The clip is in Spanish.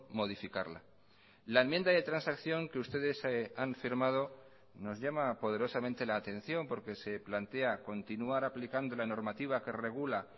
modificarla la enmienda de transacción que ustedes han firmado nos llama poderosamente la atención porque se plantea continuar aplicando la normativa que regula